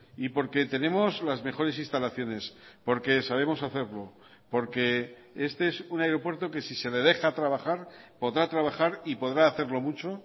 y porque tenemos las mejores instalaciones porque sabemos hacerlo porque este es un aeropuerto que si se le deja trabajar podrá trabajar y podrá hacerlo mucho